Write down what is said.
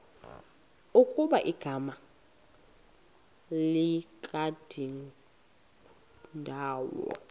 ukuba igama likadingindawo